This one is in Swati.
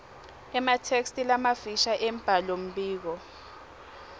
ematheksthi lamafisha embhalombiko